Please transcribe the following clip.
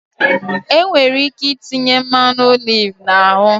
Enwere ike itinye mmanụ oliv na ahụ